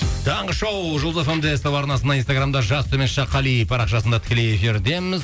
таңғы шоу жұлдыз эф эм де ств арнасында инстаграмда жас төмен сызықша қали парақшасында тікелей эфирдеміз